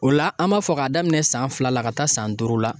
O la an b'a fɔ k'a daminɛ san fila la ka taa san duuru la